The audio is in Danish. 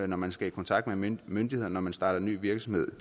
når man skal i kontakt med en myndighed når man starter ny virksomhed